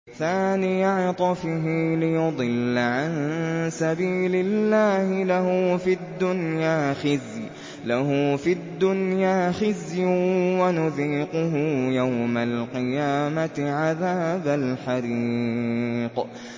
ثَانِيَ عِطْفِهِ لِيُضِلَّ عَن سَبِيلِ اللَّهِ ۖ لَهُ فِي الدُّنْيَا خِزْيٌ ۖ وَنُذِيقُهُ يَوْمَ الْقِيَامَةِ عَذَابَ الْحَرِيقِ